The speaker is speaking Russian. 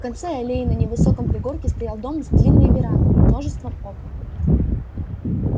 в конце аллеи на невысоком пригорке стоял дом с длинной верандой и множеством окон